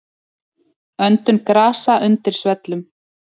Öndun grasa undir svellum.